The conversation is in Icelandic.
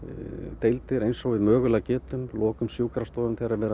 deildir eins og við mögulega getum lokum sjúkrastofum þegar verið